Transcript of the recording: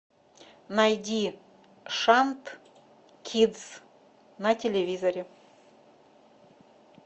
найди шант кидс на телевизоре